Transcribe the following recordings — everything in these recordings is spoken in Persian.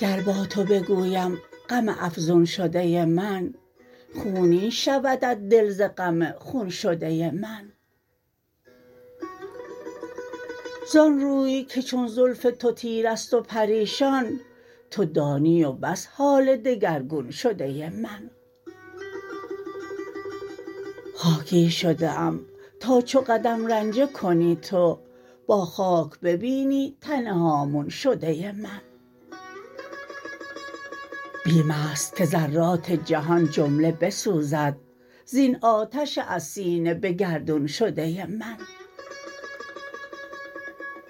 گر با تو بگویم غم افزون شده من خونین شودت دل ز غم خون شده من زان روی که چون زلف تو تیره است و پریشان تو دانی و بس حال دگرگون شده من خاکی شده ام تا چو قدم رنجه کنی تو با خاک ببینی تن هامون شده من بیم است که ذرات جهان جمله بسوزد زین آتش از سینه به گردون شده من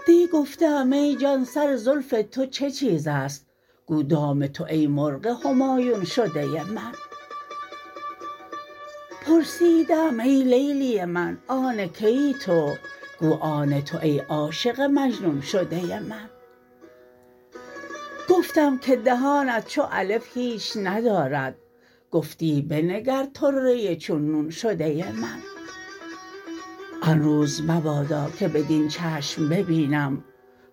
دی گفته ام ای جان سر زلف تو چه چیز است گو دام تو ای مرغ همایون شده من پرسیده ام ای لیلی من آن که ای تو گو آن تو ای عاشق مجنون شده من گفتم که دهانت چو الف هیچ ندارد گفتی بنگر طره چون نون شده من آن روز مبادا که بدین چشم ببینم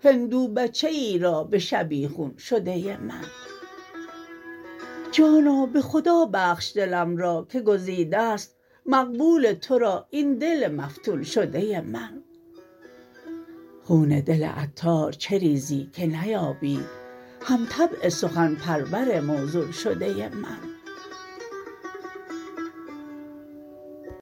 هندو بچه ای را به شبیخون شده من جانا به خدا بخش دلم را که گزیده است مقبول تو را این دل مفتون شده من خون دل عطار چه ریزی که نیابی هم طبع سخن پرور موزون شده من